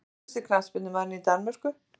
Efnilegasti knattspyrnumaðurinn í Danmörku?